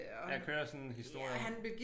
Der kører sådan en historie